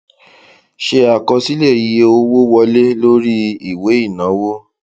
ṣe àkọsílẹ iye owó wọlé lórí ìwé ìnáwó